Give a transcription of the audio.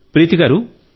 ప్రీతి గారూ